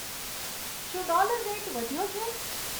શું dollar rate વધ્યો છે